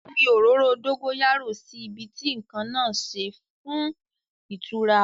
Fi òróró dógóyárò sí ibi tí nǹkan náà ṣe fún ìtura àwo ara